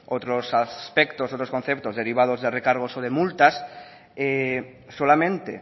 otros aspectos y otros conceptos derivados de recargos o de multas solamente